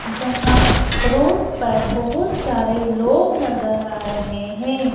जहां रोड पर बहुत सारे लोग नजर आ रहे हैं।